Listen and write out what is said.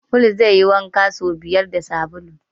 Paul zai yi wanka so biyar da sabulu.